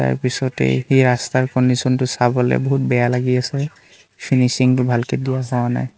তাৰপিছতে এই ৰাস্তাৰ কণ্ডিচন টো চাবলৈ বহুত বেয়া লাগি আছে ফিনিছিং টো ভালকে নাই।